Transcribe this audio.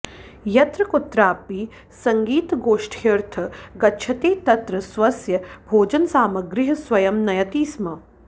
यत्रकुत्रापि सङ्गीतगोष्ठ्यर्थे गच्छति तत्र स्वस्य भोजनसामग्रीः स्वयं नयति स्म